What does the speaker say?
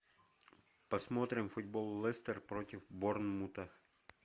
посмотрим футбол лестер против борнмута